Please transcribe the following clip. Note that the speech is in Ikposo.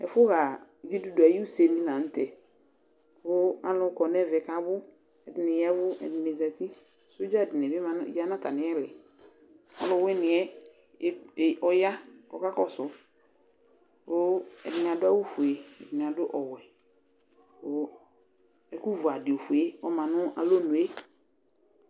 ɛƒʋ ha gyidʋdʋ ayʋ ʋsɛ di lantɛ kʋ alʋ kɔnʋɛmɛkʋ abʋ, ɛdini yavʋ, ɛdini zati, soja dini bi yanʋ atamili, ɔlʋwiniɛ ɔya kʋ ɔkakɔsʋ kʋ ɛdini adʋ awʋ ƒʋɛ, ɛdini adʋ ɔwɛ kʋ ɛkʋ vʋ adi ɔƒʋɛ ɔmanʋ alɔnʋɛ